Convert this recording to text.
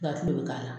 Ka kile bɛ k'a la